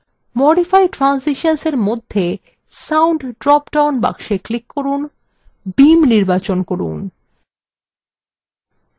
modify transitions এর মধ্যে sound drop down box click করুন beam নির্বাচন করুন